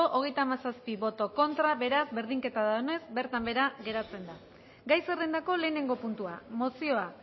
hogeita hamazazpi boto aldekoa treinta y siete contra beraz berdinketa dagoenez bertan behera geratzen da gai zerrendako lehenengo puntua mozioa